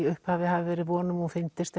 upphafi hafi verið von um að hún fyndist